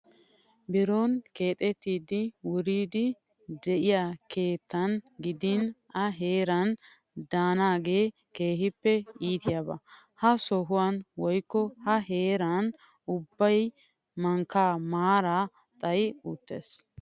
Biron keexettidi wiriddi diyaa keettan gidin A heeran daanaagee keehippe iitiyaaba. Ha sohuwan woyikko ha heeran ubbabayi mankka maaraa xayi uttis.